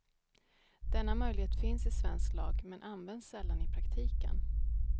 Denna möjlighet finns i svensk lag, men används sällan i praktiken.